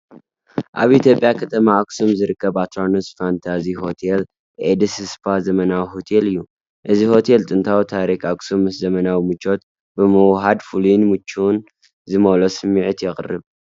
ኣብ ኢትዮጵያ ከተማ ኣክሱም ዝርከብ ኣትራኖስ ፋንታዚ ሆቴል ኤንድ ስፓ ዘመናዊ ሆቴል እዩ። እዚ ሆቴል ጥንታዊ ታሪኽ ኣክሱም ምስ ዘመናዊ ምቾት ብምውህሃድ ፍሉይን ምቾትን ዝመልኦ ስምዒት የቕርብ።